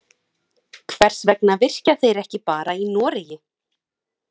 Hvers vegna virkja þeir ekki bara í Noregi?